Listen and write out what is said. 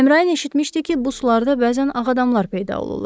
Əmrayin eşitmişdi ki, bu sularda bəzən ağ adamlar peyda olurlar.